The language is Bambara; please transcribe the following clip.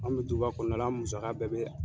An be duba kɔnɔna la , an musaka bɛɛ bɛ yan.